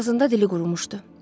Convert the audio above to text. Ağzında dili qurumuşdu.